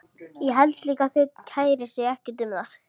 Ég held líka að þau kæri sig ekkert um það.